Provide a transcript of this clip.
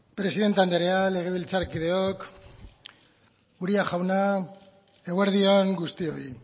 presidente anderea legebiltzarkideok uria jauna eguerdi on guztioi